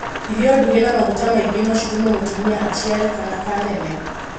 Irio nduge na maguta maingĩ no citûme mũtumia aciare kana kanene?